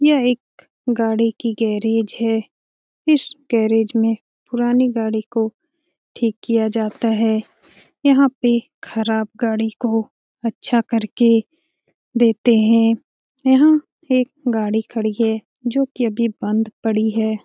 यह एक गाड़ी की गैरेज हैं इस गैरेज में पुरानी गाड़ी को ठीक किया जाता हैं। यहाँ पे ख़राब गाड़ी को अच्छा करके देते हैं । यहाँ एक गाड़ी खड़ी है जो की अभी बंद पड़ी हैं ।